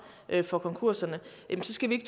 for konkurserne så skal vi